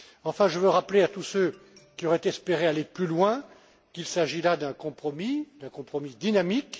Enfin, je veux rappeler à tous ceux qui auraient espéré aller plus loin, qu'il s'agit là d'un compromis, d'un compromis dynamique.